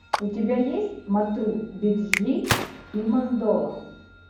у тебя есть матру биджли и мандола